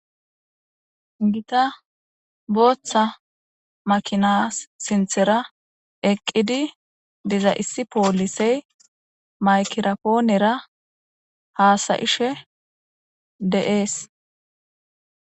Gita booththa makinas sinthera eqqidi diza issi poolisey maygirapoonera haasayishe deees.